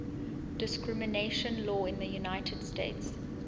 discrimination law in the united states